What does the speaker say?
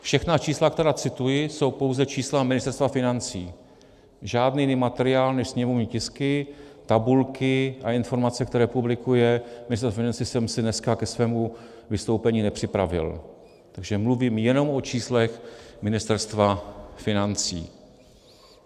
Všechna čísla, která cituji, jsou pouze čísla Ministerstva financí, žádný jiný materiál než sněmovní tisky, tabulky a informace, které publikuje Ministerstvo financí, jsem si dneska ke svému vystoupení nepřipravil, takže mluvím jenom o číslech Ministerstva financí.